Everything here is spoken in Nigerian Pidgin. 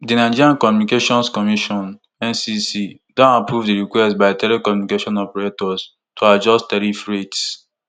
di nigerian communications commission ncc don approve di request by telecommunication operators to adjust tariff rates